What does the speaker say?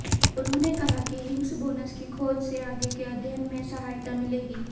उन्होंने कहा कि हिग्स बोसन की खोज से आगे के अध्ययन में सहायता मिलेगी